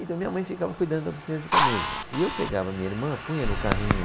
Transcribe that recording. Então, minha mãe ficava cuidando da oficina de camisas, e eu pegava minha irmã, punha no carrinho,